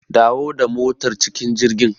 Dawo da motar cikin jirgin.